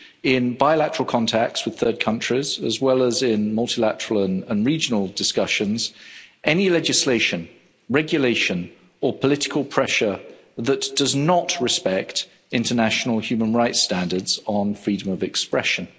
in bilateral contacts with third countries, as well as in multilateral and regional discussions, any legislation, regulation or political pressure that does not respect international human rights standards on freedom of expression.